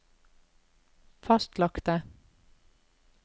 fastlagte